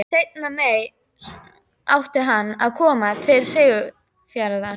Seinna meir átti hann að koma til Siglufjarðar.